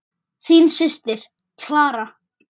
Þín systir, Clara.